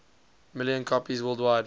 million copies worldwide